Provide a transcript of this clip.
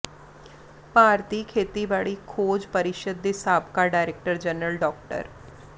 ਭਾਰਤੀ ਖੇਤੀਬਾੜੀ ਖੋਜ ਪ੍ਰਰੀਸ਼ਦ ਦੇ ਸਾਬਕਾ ਡਾਇਰੈਕਟਰ ਜਨਰਲ ਡਾ